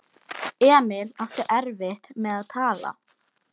Emil átti erfitt með að tala.